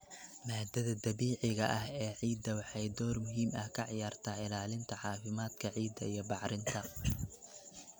Maaddada dabiiciga ah ee ciidda waxay door muhiim ah ka ciyaartaa ilaalinta caafimaadka ciidda iyo bacrinta.